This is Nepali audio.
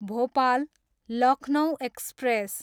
भोपाल, लखनउ एक्सप्रेस